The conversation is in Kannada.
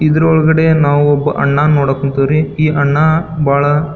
ಇದ್ರೊಳಗಡೆ ನಾವು ಒಬ್ಬ ಅಣ್ಣನು ನೋಡಕ್ ಕುಂತವ್ರಿ ಈ ಅಣ್ಣ ಬಹಳ --